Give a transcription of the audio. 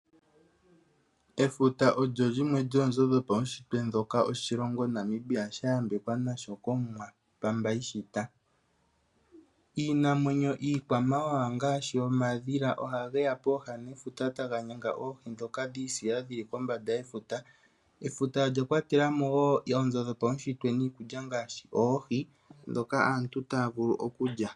Efuta olyo lyimwe lyoonzo dhopaunshitwe dhoka oshilongo Namibia sha yambekwa nasho kOmuwa Pamba ishita. Iinamwenyo iikwamawawa ngaashi omadhila ohage ya pooha nefuta taga nyanga oohi dhoka dhiisila dhili kombanda yefuta. Efuta olya kwatela mo wo oonzo dhopaunshitwe niikulya ngaashi oohi, dhoka aantu taya vulu okulya.